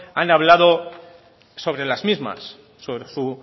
han hablado sobre las mismas sobre su